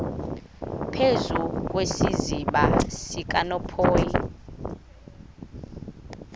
phezu kwesiziba sikanophoyi